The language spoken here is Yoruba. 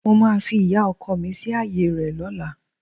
Mo máa fi ìyá ọkọ mi sí ààyè rẹ̀ lọ́la